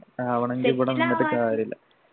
ആവണെങ്കിൽ ഇവിടെ നിന്നിട്ട് കാര്യമില്ല